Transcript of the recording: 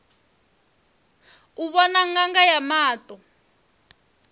u vhona ṅanga ya maṱo